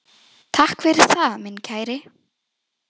Takk fyrir það, minn kæri.